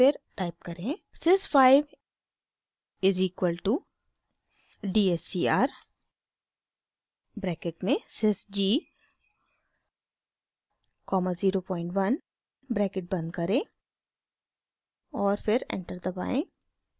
sys 5 is equal to d s c r bracket में sys g comma 01 bracket बंद करें और फिर एंटर दबाएं